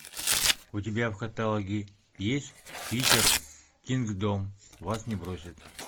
у тебя в каталоге есть питер кингдом вас не бросит